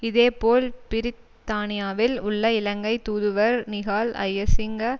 இதே போல் பிரித்தானியாவில் உள்ள இலங்கை தூதுவர் நிஹால் ஜயசிங்க